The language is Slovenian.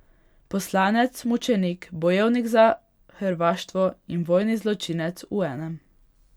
Poslanec, mučenik, bojevnik za hrvaštvo in vojni zločinec v enem.